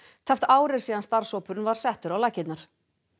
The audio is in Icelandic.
tæpt ár er síðan starfshópurinn var settur á laggirnar